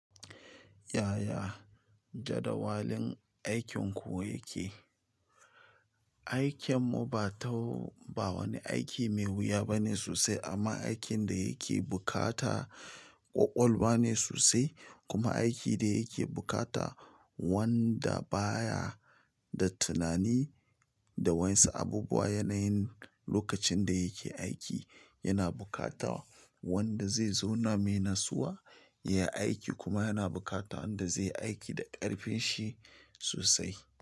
Yaya jadawalin aikinku yake? Aikinmu ba wani aiki mai wuya bane sosai amma aikin da yake bukata ƙwoƙwolwa ba ne sosai kuma aiki da yake bukata wanda baya da tunani da wa'yansu abubuwa yanayin lokacin da yake aiki. Yana bukata wanda zai zauna mai natsuwa ya yi aiki kuma yana bukata wanda zai yi aiki da ƙarfin shi sosai.